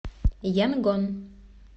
янгон